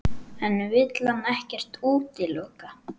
En vill hann ekkert útiloka?